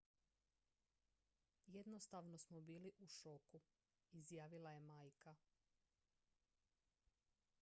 """jednostavno smo bili u šoku" izjavila je majka.